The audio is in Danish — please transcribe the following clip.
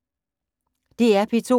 DR P2